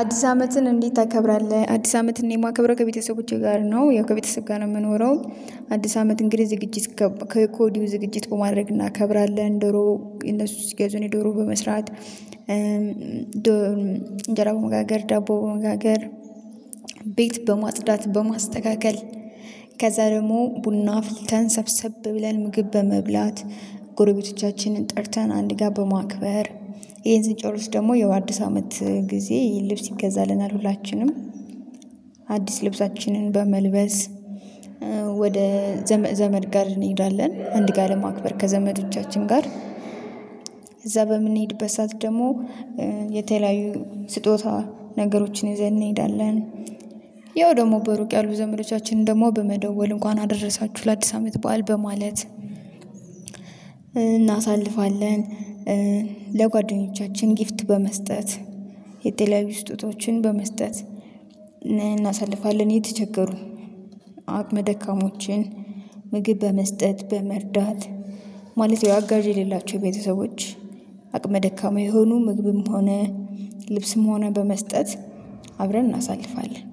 አዲስ አመትን እንዴት ታከብራለህ? አዲስ አመትን የማከብረው ከቤተሰቦቼ ጋር ነው ያው ከቤተሰብ ጋር ነው የምኖረው። አዲስ አመት እንግዲህ ዝግጅት ከወዲሁ ዝግጅት በማድረግ እናከብራለን። ዶሮ እነሱ ሲገዙ እኔ ዶሮ በመስራት እንጀራ በመጋገር ዳቦ በመጋገር ቤት በማጥዳት በማስተካከል። ከዛ ደግሞ ቡና አፍልተን ሰብሰብ ብለን ምግብ በመብላት ጎረቤቶቻችንን ጠርተን አንድ ጋር በማክበር። ይሄን ስንጨር ውስጥ ደግሞ የው አዲስ አመት ጊዜ ልብስ ይገዛልናል ሁላችንም። አዲስ ልብሳችንን በመልበስ ወደ ዘመድ ጋር እንሄዳለን። አንድ ጋር ለማክበር ከዘመዶቻችን ጋር እዛ በምንሄድበት ሰዓት ደግሞ የተለያዩ ስጦታ ነገሮችን ይዘን እንሄዳለን። ያው ደግሞ በሩቅ ያሉ ዘመዶቻችንን ደግሞ በመደወል እንኳን አደረሳችሁ ለአዲስ አመት በዓል በማለት እናሳልፋለን። ለጓደኞቻችን ጊፍት በመስጠት የተለያዩዊ ስጦታዎችን በመስጠት እናሳልፋለን። የተቸገሩን አቅመ ደካሞችን ምግብ በመስጠት በመርዳት ማለት ያው አጋዥ ሌላችሁ የቤተሰቦች አቅመ ደካማ የሆኑ ምግብም ሆነ ልብስም ሆነ በመስጠት አብረን እናሳልፋለን።